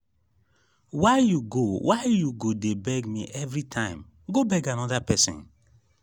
why you go why you go dey beg me everytime go beg another person